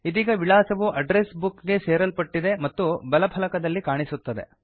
ಇದೀಗ ವಿಳಾಸವು address book ಗೆ ಸೇರಲ್ಪಟ್ಟಿದೆ ಮತ್ತು ಬಲ ಫಲಕದಲ್ಲಿ ಕಾಣಿಸುತ್ತಿದೆ